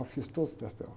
Eu fiz todos os testes dela.